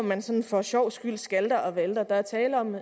man sådan for sjovs skyld skalter og valter der er tale om